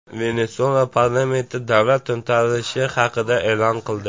Venesuela parlamenti davlat to‘ntarishi haqida e’lon qildi .